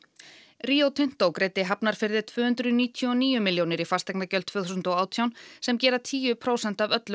Rio Tinto greiddi Hafnarfirði tvö hundruð níutíu og níu milljónir í fasteignagjöld tvö þúsund og átján sem gera tíu prósent af öllum